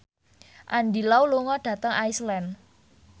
Andy Lau lunga dhateng Iceland